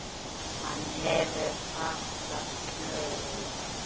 Hvar hefur okkur fatast flugið?